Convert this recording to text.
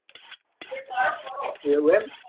એવું હે એમ